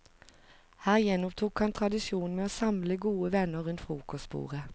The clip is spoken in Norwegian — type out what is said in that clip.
Her gjenopptok han tradisjonen med å samle gode venner rundt frokostbordet.